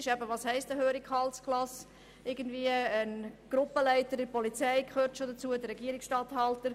Ein Gruppenleiter bei der Polizei gehört in diese Kategorie, ebenso wie ein Regierungsstatthalter.